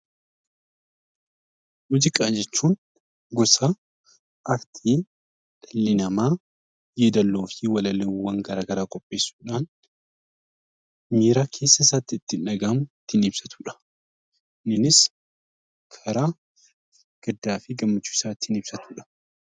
Muuziqaa jechuun gosa Aartii dhalli namaa yeedaloo fi walaloowwan gara garaa qopheessuu dhaan miira keessa isaatti itti dhaga'amu ittiin ibsatu dha. Kuniinis karaa gaddaa fi gammachuu isaa ittiin ibsatu dha.